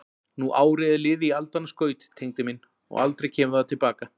Nú árið er liðið í aldanna skaut, Tengdi minn, og aldrei það kemur til baka.